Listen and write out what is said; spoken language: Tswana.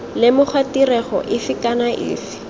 lemoga tirego efe kana efe